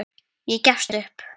Ég gefst upp